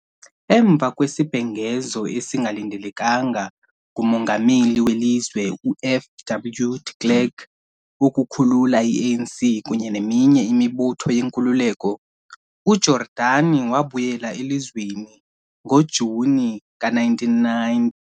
Emva kwesibhengezo esingalindelekanga nguMongameli welizwe u-F.W. de Klerk wokukhulula i-ANC kunye neminye imibutho yenkululeko, uJordani wabuyela elizweni ngo-Juni ka-1990.